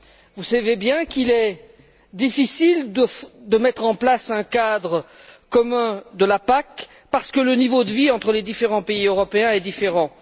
Vous savez bien qu'il est difficile de mettre en place un cadre commun de la PAC parce que le niveau de vie entre les différents pays européens est différent.